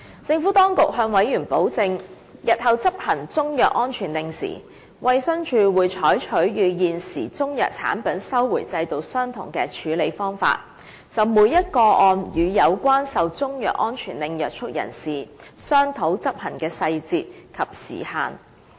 政府當局向委員保證，日後在執行中藥安全令時，衞生署會採取與現時中藥產品收回制度相同的處理方法，就每宗個案與受中藥安全令約束人士商討執行細節和時限。